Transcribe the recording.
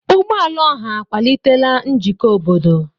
Ụgbọ ala ọha akwalitela njikọ obodo.